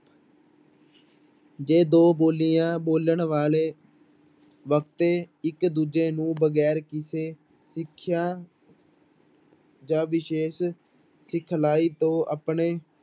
ਜੇ ਦੋ ਬੋਲੀਆਂ ਬੋਲਣ ਵਾਲੇ ਵਕਤੇ ਇੱਕ ਦੂਜੇ ਨੂੰ ਵਗ਼ੈਰ ਕਿਸੇ ਸਿੱਖਿਆ ਜਾਂ ਵਿਸ਼ੇਸ਼ ਸਿਖਲਾਈ ਤੋਂ ਆਪਣੇ